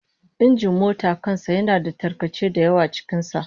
Injin mota kan sa yana da tarkace da yawa cikin sa